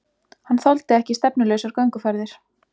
Hann þoldi ekki stefnulausar gönguferðir.